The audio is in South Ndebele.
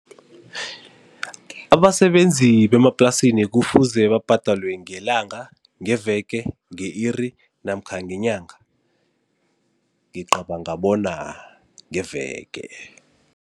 Abasebenzi bemaplasini kufuze babhadalwe ngelanga, ngeveke, nge-iri namkha ngenyanga? Ngicabanga bona ngeveke.